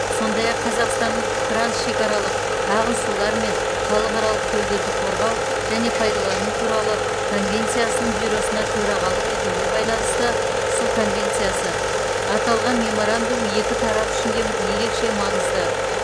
сондай ақ қазақстанның трансшекаралық ағын сулар мен халықаралық көлдерді қорғау және пайдалану туралы конвенциясының бюросына төрағалық етуіне байланысты су конвенциясы аталған меморандум екі тарап үшін де ерекше маңызды